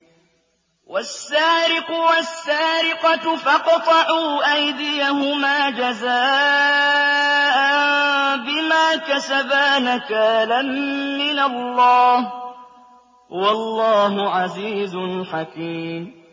وَالسَّارِقُ وَالسَّارِقَةُ فَاقْطَعُوا أَيْدِيَهُمَا جَزَاءً بِمَا كَسَبَا نَكَالًا مِّنَ اللَّهِ ۗ وَاللَّهُ عَزِيزٌ حَكِيمٌ